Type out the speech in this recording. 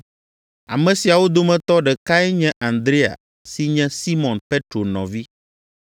Ame siawo dometɔ ɖekae nye Andrea si nye Simɔn Petro nɔvi.